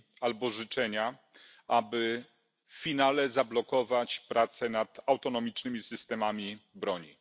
albo życzenia, aby w finale zablokować prace nad autonomicznymi systemami broni.